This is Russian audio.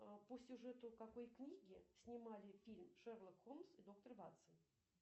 а по сюжету какой книги снимали фильм шерлок холмс и доктор ватсон